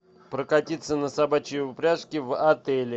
прокатиться на собачьей упряжке в отеле